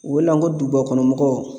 U wele n ko dugubakɔnɔmɔgɔw